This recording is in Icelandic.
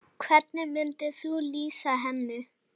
Hvernig myndir þú lýsa henni?